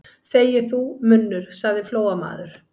Þegi þú, munnur, sagði Flóamaður.